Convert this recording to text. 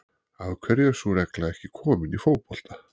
Af hverju er sú regla ekki komin í fótbolta?